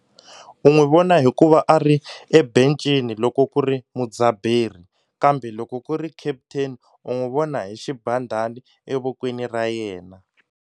U n'wi vona hi ku va a ri ebencini loko ku ri mudzabheri kambe loko ku ri captain u n'wi vona hi xibandhani evokweni ra yena.